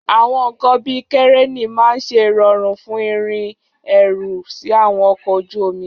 Àwọn nkan bíi kẹ̀rẹ́nì máa ń ṣe ìrọ̀rùn fún ìrìn ẹrù sí àwọn ọkọ̀ ojú omi.